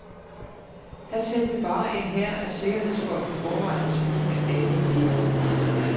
Han sendte bare en hær af sikkerhedsfolk i forvejen, så kunne alle gætte resten.